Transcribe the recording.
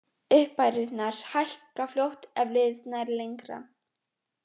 Upphæðirnar hækka fljótt ef liðið nær lengra.